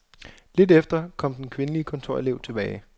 Lidt efter kom den kvindelige kontorelev tilbage.